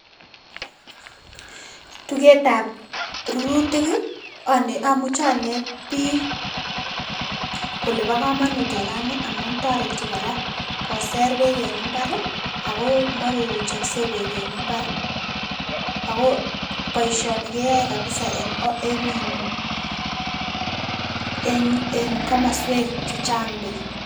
Tuketab rurutik amuche aneet biik kole bokomonut orani amun toreti kora koser beek en imbar akoo moruruchokse beek en imbar, akoo boishoni keyoe kabisaa en iin komoswek chechang beek.